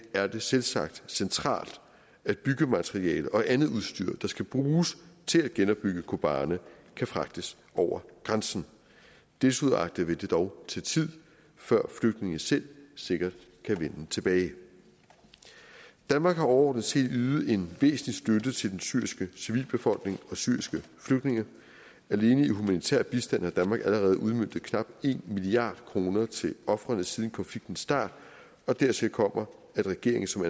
er det selvsagt centralt at byggemateriale og andet udstyr der skal bruges til at genopbygge kobane kan fragtes over grænsen desuagtet vil det dog tage tid før flygtninge selv sikkert kan vende tilbage danmark har overordnet set ydet en væsentlig støtte til den syriske civilbefolkning og syriske flygtninge alene i humanitær bistand har danmark allerede udmøntet knap en milliard kroner til ofrene siden konfliktens start og dertil kommer at regeringen som